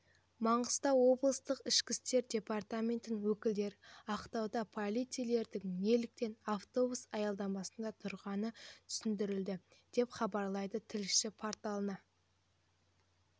маңғыстау облыстық ішкі істер департаментінің өкілдеріақтауда полицейлердің неліктен автобус аялдамасында тұрғанын түсіндірді деп хабарлайды тілшісі порталына